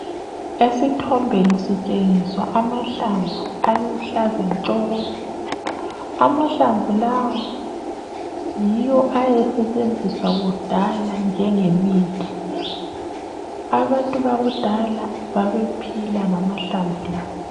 Esithombeni sitshengiswa amahlamvu aluhlaza tshoko. Amahlamvu lawa yiwo ayesetshenziswa kudala njengemithi. Abantu bakudala babephila ngamahlamvu la.